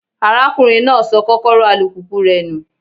Arákùnrin náà sọ Kọ́kọ́rọ́ alùpùpù rẹ̀ nù.